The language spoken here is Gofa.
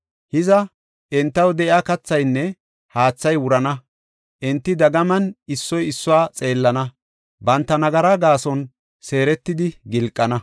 Hiza, entaw de7iya kathaynne haathay wurana; enti dagaman issoy issuwa xeellana; banta nagaraa gaason seeretidi gilqana.